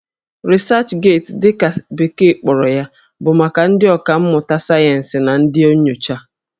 Researchgate' dị ka bekee kpọrọ ya bụ maka ndị ọkà mmụta sayensị na ndị nyocha